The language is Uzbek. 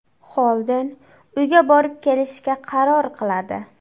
Xolden uyga borib kelishga qaror qiladi.